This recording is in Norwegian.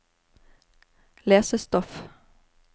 lesestoff